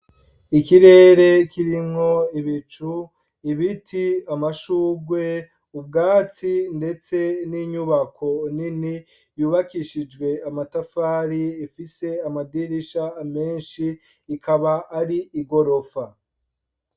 Ikirere kirimwo ibicu, ibiti, amashurwe, ubwatsi, ndetse n'inyubako nini yubakishijwe amatafari, ifise amadirisha menshi, ikaba ar'igorofa.